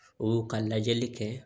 O ka lajɛli kɛ